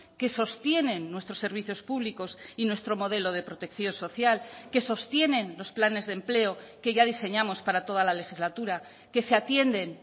que sostienen nuestros servicios públicos y nuestro modelo de protección social que sostienen los planes de empleo que ya diseñamos para toda la legislatura que se atienden